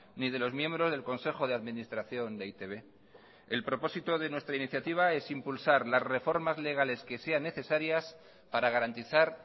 ni de los miembros del consejo de administración de e i te be el propósito de nuestra iniciativa es impulsar las reformas legales que sean necesarias para garantizar